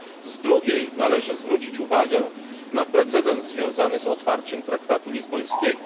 Z drugiej strony należy zwrócić uwagę na precedens związany z otwarciem traktatu lizbońskiego.